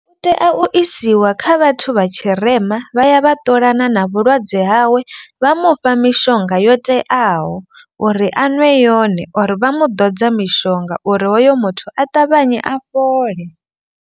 U tea u isiwa kha vhathu vha tshirema vha ya vha ṱolana na vhulwadze hawe. Vha mufha mishonga yo teaho uri a nwe yone or vha mu ḓodza mishonga uri hoyo muthu a ṱavhanye a fhole.